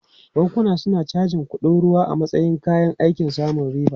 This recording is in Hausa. Bankuna suna cajin kuɗin ruwa a matsayin kayan aikin samun riba.